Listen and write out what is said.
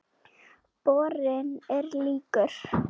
Borinn er líkur